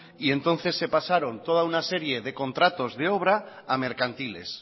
y entonces se pasaron toda una serie de contratos de obra a mercantiles